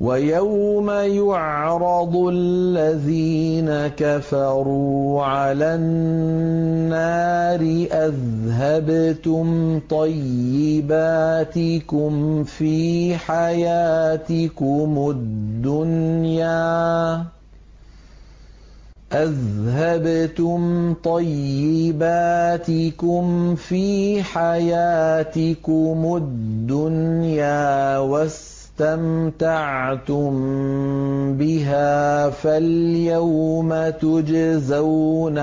وَيَوْمَ يُعْرَضُ الَّذِينَ كَفَرُوا عَلَى النَّارِ أَذْهَبْتُمْ طَيِّبَاتِكُمْ فِي حَيَاتِكُمُ الدُّنْيَا وَاسْتَمْتَعْتُم بِهَا فَالْيَوْمَ تُجْزَوْنَ